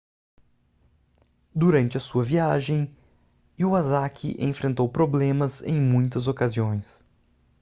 durante a sua viagem iwasaki enfrentou problemas em muitas ocasiões